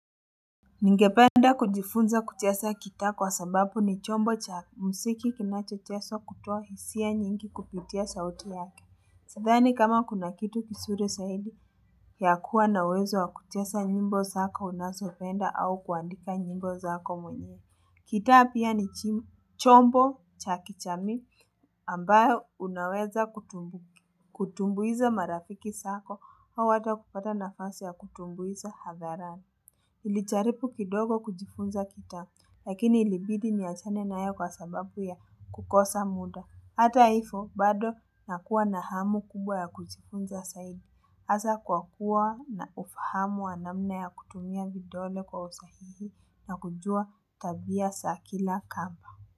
Ningependa kujifunza kucheza gita kwa sababu ni chombo cha muziki kinacho chezwa kutoa hisia nyingi kupitia sauti yake. Sidhani kama kuna kitu kizuri sahidi ya kuwa nawezo wa kucheza nyimbo zako unazopenda au kuandika nyimbo zako mwenyewe. Gita pia ni chombo cha kijamii ambayo unaweza kutumbuiza marafiki zako hawata kupata nafasi ya kutumbuiza hadharani. Nilijaribu kidogo kujifunza gita, lakini ilibidi ni achane nayo kwa sababu ya kukosa muda. Hata hivo, bado nakuwa na hamu kubwa ya kujifunza saidi. Asa kwa kuwa na ufahamu anamna ya kutumia vidole kwa usahihi na kujua tabia zakila kamba.